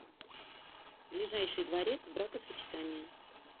ближайший дворец бракосочетания